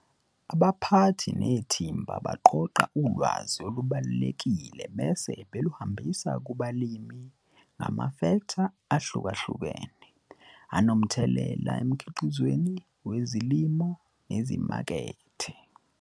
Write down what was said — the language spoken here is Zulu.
Abaphathi nethimba baqoqa ulwazi olubalulekile bese beluhambisa kubalimi ngamafektha ahlukahlukene anomthelela emkhiqizweni wezilimo nezimakethe.